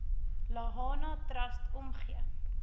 lahana trust omgee